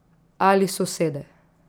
Ali sosede.